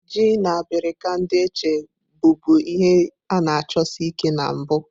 Ji na abirika ndi Etche bụbu ihe a-na achosi Ike na mbu.